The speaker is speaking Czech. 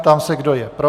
Ptám se, kdo je pro?